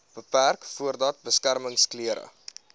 beperk voordat beskermingsklere